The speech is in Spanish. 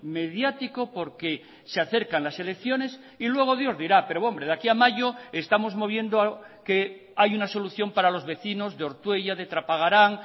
mediático porque se acercan las elecciones y luego dios dirá pero hombre de aquí a mayo estamos moviendo que hay una solución para los vecinos de ortuella de trapagarán